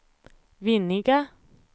Vinninga